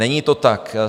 Není to tak.